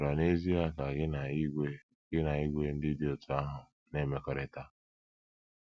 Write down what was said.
Ị̀ chọrọ n’ezie ka gị na ìgwè gị na ìgwè ndị dị otú ahụ na - emekọrịta?